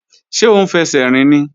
Ṣé ó ń fẹsẹ̀ rìn ni?